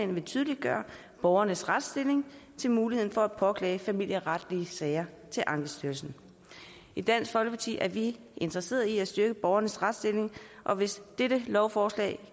vil tydeliggøre borgernes retsstilling med til muligheden for at påklage familieretlige sager til ankestyrelsen i dansk folkeparti er vi interesseret i at styrke borgernes retsstilling og hvis dette lovforslag